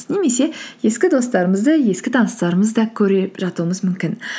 немесе ескі достарымызды ескі таныстарымызды да көріп жатуымыз мүмкін